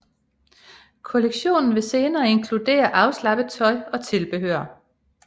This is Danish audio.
Kollektionen vil senere inkludere afslappet tøj og tilbehør